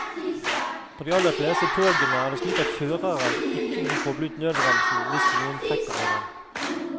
På de aller fleste togene er det slik at føreren ikke kan koble ut nødbremsen hvis noen trekker i den.